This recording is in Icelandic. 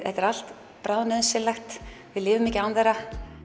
þetta er allt bráðnauðsynlegt við lifum ekki án þeirra